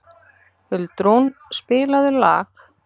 Huldrún, spilaðu lag.